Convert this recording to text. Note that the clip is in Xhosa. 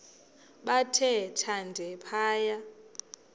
bathe thande phaya